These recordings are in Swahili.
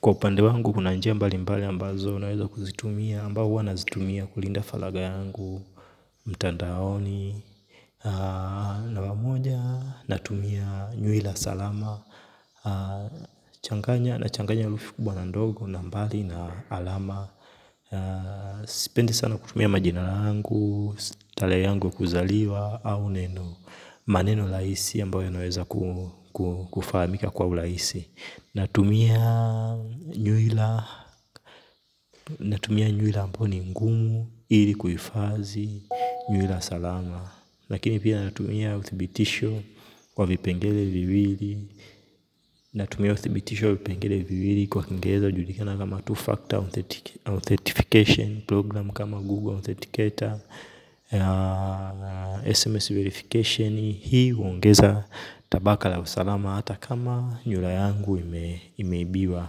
Kwa upande wangu kuna njia mbali mbali ambazo unaweza kuzitumia ambao huwa nazitumia kulinda falagha yangu mtandaaoni mara moja natumia nywila salama changanya nachanganya herufi kubwa na ndogo na mbali na alama sipendi sana kutumia majina yangu. Tarehe yangu ya kuzaliwa au neno. Maneno rahisi ambayo inaweza kufahamika kwa urahisi. Natumia nywila ambao ni mgumu ili kuhifadhi nywila salama. Lakini pia natumia uthibitisho wa vipengele viwili natumia uthibitisho wa vipengele viwili kwa kingereza hujulikana kama two-factor authentification program kama Google Authenticator tuseme verification hii huongeza tabaka la usalama hata kama nywila yangu imeibiwa.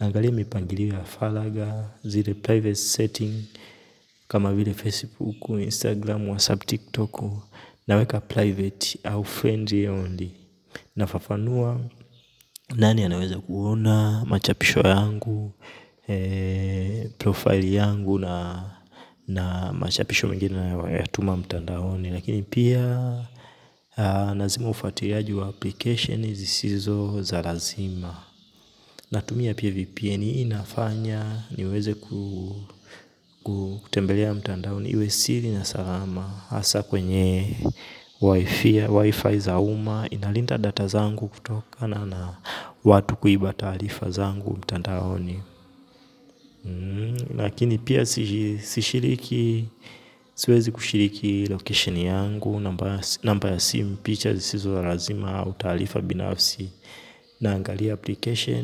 Naangalia mipangilio na falagha zile private setting. Kama vile Facebook, Instagram, WhatsApp, TikTok. Naweka private au friendly only nafafanua nani anaweza kuona machapisho yangu. Profile yangu. Na machapisho mengine ninayoyatuma mtandaoni. Lakini pia nazima ufuatiliaji wa application zisizo za lazima. Natumia pia VPN hii inafanya niweze kutembelea mtandaoni iwe siri na salama hasa kwenye wifi za uma italinda data zangu kutokana na watu kuiba taarifa zangu mtandaoni. Lakini pia sishiriki siwezi kushiriki location yangu. Namba ya simu picha zisizo la lazima utaarifa binafsi. Naangalia application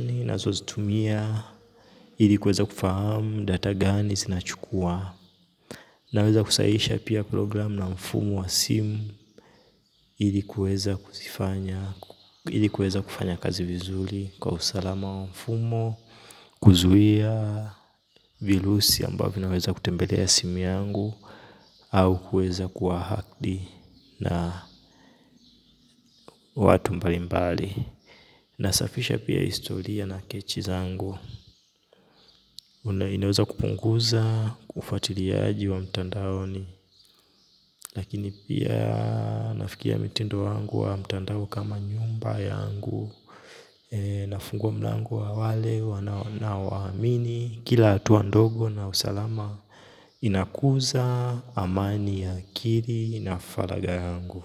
ninazozitumia ili kweza kufahamu data gani zinachukuwa. Naweza kusahihisha pia program na mfumo wa simu ili kuweza kufanya kazi vizuri. Kwa usalama wa mfumo kuzuia virusi ambavyo vinaweza kutembelea simu yangu au kuweza kuwa hacked na watu mbali mbali. Nasafisha pia historia na kechi zangu. Na inaweza kupunguza ufuatiliaji wa mtandaoni lakini pia nafikiria mtindo wangu wa mtandao kama nyumba yangu, nafungua mlango kwa wale hawaamini kila hatua ndogo na usalama. Inakuza amani akili na faragha yangu.